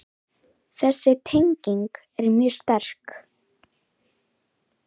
Þessi tenging er mjög sterk.